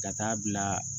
Ka taa bila